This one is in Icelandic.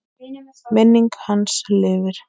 Minning hans lifir.